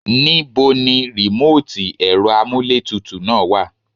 Nibo ní remoti ẹ̀rọ amuletutu náà wá?